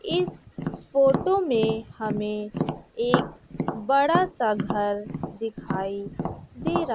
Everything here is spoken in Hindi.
इस फोटो में हमें एक बड़ा सा घर दिखाई दे रहा--